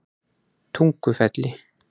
Tungufelli